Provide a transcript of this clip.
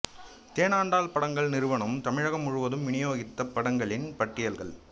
தேனாண்டாள் படங்கள் நிறுவனம் தமிழகம் முழுவதும் விநியோகித்த படங்களின் பட்டியல்கள்